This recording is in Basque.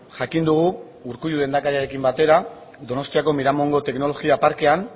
jakin dugu urkullu lehendakariarekin batera donostiako miramongo teknologia parkean